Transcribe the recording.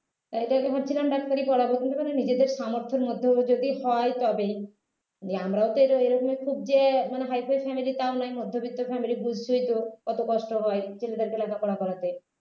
তাই তাকে ভাবছিলাম ডাক্তারি পড়াব কিন্তু যদি নিজেদের সামর্থ্যের মধ্যেও যদি হয় তবে যে আমরা তো এরকম খুব যে মানে high five family তাও নয় মধ্যবিত্ত family বুঝঝই তো কত কষ্ট হয় ছেলেদের লেখাপড়া করাতে